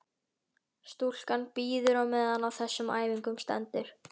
Stúlkan bíður á meðan á þessum æfingum stendur.